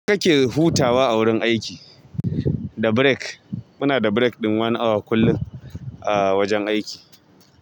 Ya kake hutawa a wurin aiki? Da break. Muna da break ɗin one awa kullum a wajen aiki.